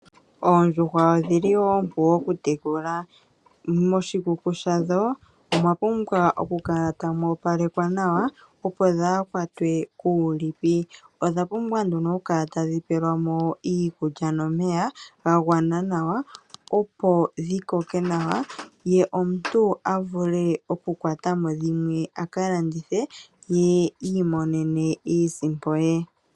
Oondjuhwa odhili oompu okutekulwa . Moshikuku shadho omwapumbwa okukala tamu opalekwa nawa, opo dhaakwatwe kuulipi. Odha pumbwa okukala tadhi pelwamo iikulya nomeya gagwana nawa opo dhikoke nawa, ye omuntu avule okukwatamo dhimwe aka landithe , ye iimonene iisimpo ye.